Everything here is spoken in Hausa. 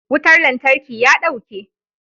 Wutar lantarki ya dauke.